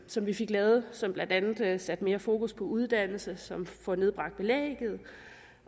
som vi fik lavet og som blandt andet har sat mere fokus på uddannelse som har fået nedbragt belægget